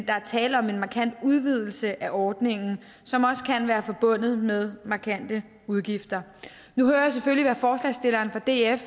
er tale om en markant udvidelse af ordningen som også kan være forbundet med markante udgifter nu hører jeg selvfølgelig hvad forslagsstilleren fra df